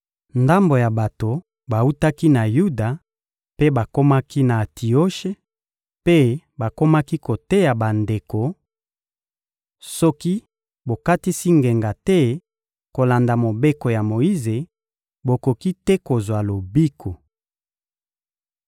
Ndambo ya bato bawutaki na Yuda mpe bakomaki na Antioshe, mpe bakomaki koteya bandeko: — Soki bokatisi ngenga te kolanda Mobeko ya Moyize, bokoki te kozwa lobiko.